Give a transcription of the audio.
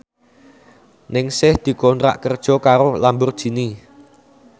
Ningsih dikontrak kerja karo Lamborghini